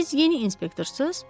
Siz yeni inspektorsuz?